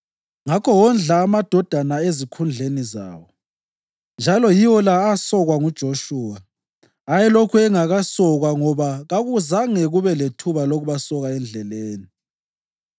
Ngakho wondla amadodana ezikhundleni zawo, njalo yiwo la asokwa nguJoshuwa. Ayelokhu engakasokwa ngoba kungazange kube lethuba lokubasoka endleleni.